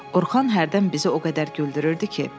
Orxan hərdən bizi o qədər güldürürdü ki.